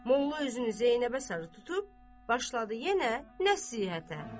Molla üzünü Zeynəbə sarı tutub, başladı yenə nəsihətə: